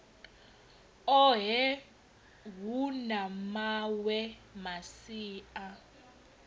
ohe hu na mawe masia